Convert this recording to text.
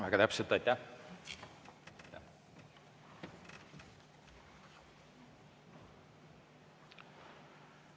Väga täpne, aitäh!